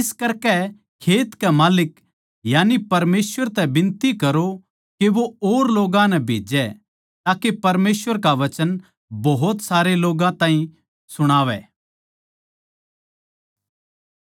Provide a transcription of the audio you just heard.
इस करकै खेत के माल्लिक यानी परमेसवर तै बिनती करो के वो और लोग्गां नै भेजै ताके परमेसवर का वचन भोत सारे लोग्गां ताहीं सुणावै